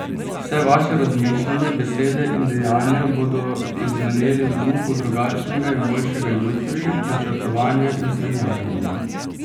Vse vaše razmišljanje, besede in dejanja bodo izzveneli v duhu drugačnega in boljšega jutri, načrtovanja in sanjarjenja.